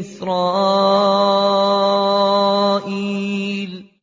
إِسْرَائِيلَ